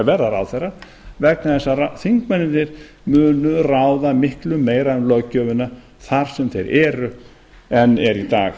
verða ráðherra vegna þess að þingmennirnir munu ráða miklu meira um löggjöfina þar sem þeir eru en er í dag